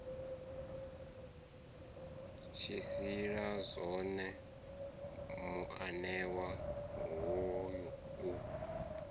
tshilisa zwone muanewa hoyu u